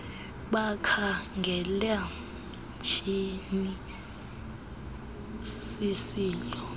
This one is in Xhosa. bakhangela tyhiinil sisilo